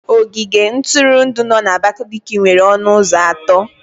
Ogige ntụrụndụ no na Abakaliki nwere ọnụ ụzọ atọ.